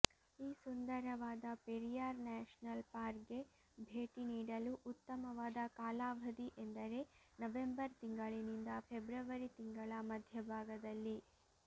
ಈ ಸುಂದರವಾದ ಪೆರಿಯಾರ್ ನ್ಯಾಷನಲ್ ಪಾರ್ಕ್ಗೆ ಭೇಟಿ ನೀಡಲು ಉತ್ತಮವಾದ ಕಾಲಾವಾಧಿ ಎಂದರೆ ನವೆಂಬರ್ ತಿಂಗಳಿನಿಂದ ಫೆಬ್ರವರಿ ತಿಂಗಳ ಮಧ್ಯಭಾಗದಲ್ಲಿ